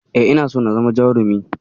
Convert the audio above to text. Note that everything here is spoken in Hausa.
E, ina so na zama jarumi.